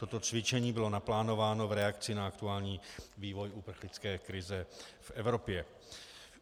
Toto cvičení bylo naplánováno v reakci na aktuální vývoj uprchlické krize v Evropě.